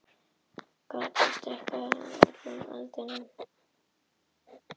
Gatið stækkaði undan axarhöggum, það rigndi um það svo hvissaði í eldinum.